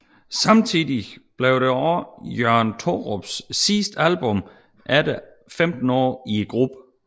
Samtidig blev det også Jørgen Thorups sidste album efter 15 år i gruppen